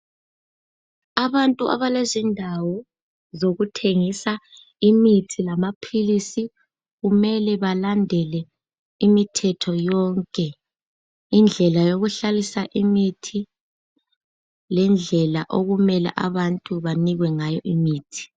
Abantu abalezindawo zokuthengisa imithi lamaphilisi kumele balandele imithetho yonke indlela yokuhlalisa imithi lendlela abantu okumele banikwe ngayo imithi.